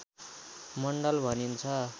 मण्डल भनिन्छ